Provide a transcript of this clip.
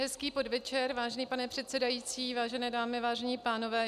Hezký podvečer, vážený pane předsedající, vážené dámy, vážení pánové.